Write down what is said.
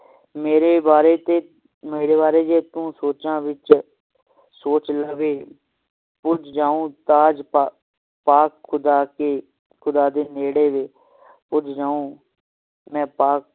ਮੇਰੇ ਵਾਰੇ ਤੇ ਮੇਰੇ ਵਾਰੇ ਜੇ ਤੂੰ ਸੋਚਾਂ ਵਿਚ ਸੋਚ ਲਵੇ ਪੁੱਜ ਜਾਉ ਤਾਜ ਪਾ ਖੁਦਾ ਕੇ ਨੇੜੇ ਵੇ ਪੁੱਜ ਜਾਉ ਮੈਂ ਪਾ